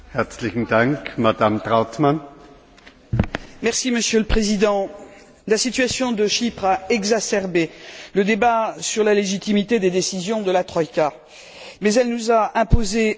Monsieur le Président, la situation de Chypre a exacerbé le débat sur la légitimité des décisions de la troïka, mais elle nous a imposé un constat terrible, celui de son inefficacité.